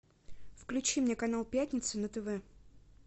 включи мне канал пятница на тв